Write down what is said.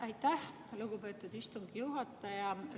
Aitäh, lugupeetud istungi juhataja!